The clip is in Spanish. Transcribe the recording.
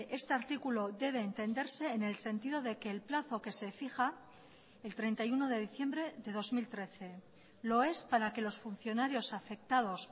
este artículo debe entenderse en el sentido de que el plazo que se fija el treinta y uno de diciembre de dos mil trece lo es para que los funcionarios afectados